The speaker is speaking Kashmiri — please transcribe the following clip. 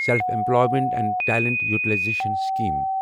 سلف employment and talent utilisation scheme